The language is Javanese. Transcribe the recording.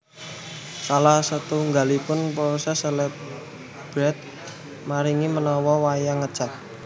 Salah setunggalipun poses salebeté maringi warna wayang ngecat